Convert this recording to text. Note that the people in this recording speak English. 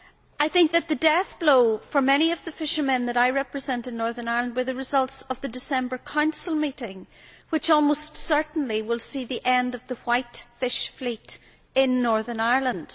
I think the death blow for many of the fishermen that I represent in Northern Ireland was the results of the December Council meeting, which almost certainly will see the end of the white fish fleet in Northern Ireland.